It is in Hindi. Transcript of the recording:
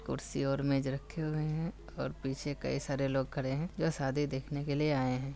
कुर्सी और मेज रखे हुए हैं और पीछे कही सारे लोग खड़े हैं जो शादी देखने के लिए आए हैं।